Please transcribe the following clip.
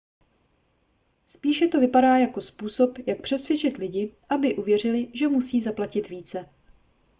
spíše to vypadá jako způsob jak přesvědčit lidi aby uvěřili že musí zaplatit více